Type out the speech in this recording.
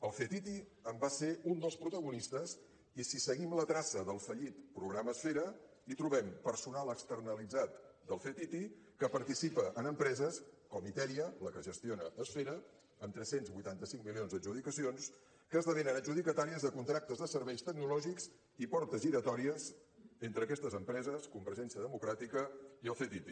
el ctti en va ser un dels protagonistes i si seguim la traça del fallit programa esfera hi trobem personal externalitzat del ctti que participa en empreses com itèria la que gestiona esfera amb tres cents i vuitanta cinc milions d’adjudicacions que esdevenen adjudicatàries de contractes de serveis tecnològics i portes giratòries entre aquestes empreses convergència democràtica i el ctti